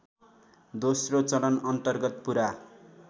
दोस्रो चरणअन्तर्गत पुरा